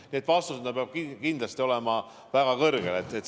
Nii et vastus: see peab kindlasti olema väga kõrgel.